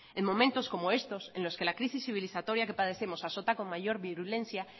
en momentos como estos en los que la crisis civilizatoria que padecemos azota con mayor virulencia